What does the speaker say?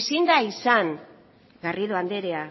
ezin da izan garrido andrea